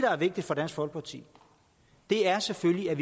er vigtigt for dansk folkeparti er selvfølgelig at